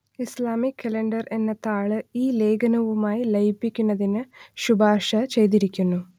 Islamic calendar എന്ന താൾ ഈ ലേഖനവുമായി ലയിപ്പിക്കുന്നതിന് ശുപാർശ ചെയ്തിരിക്കുന്നു